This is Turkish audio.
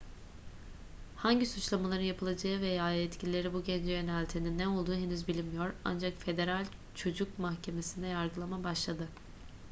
hangi suçlamaların yapılacağı veya yetkilileri bu gence yöneltenin ne olduğu henüz bilinmiyor ancak federal çocuk mahkemesinde yargılama başladı